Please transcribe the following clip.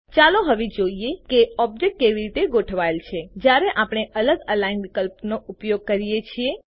ચાલો હવે જોઈએ કે ઓબ્જેક્ટ કેવી રીતે ગોઠવાયેલ છે જ્યારે આપણે અલગ અલિગ્ન વિકલ્પોનો ઉપયોગ કરીએ છીએ